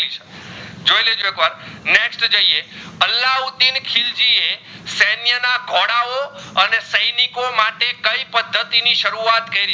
સૈનિકો માટે કઈ પદ્ધતિ ની સરુવત કે